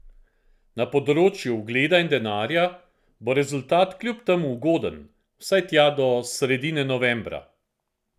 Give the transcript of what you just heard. Na področju ugleda in denarja bo rezultat kljub temu ugoden vsaj tja do sredine novembra.